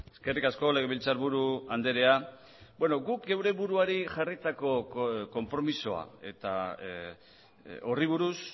eskerrik asko legebiltzarburu andrea beno guk geure buruari jarritako konpromisoa eta horri buruz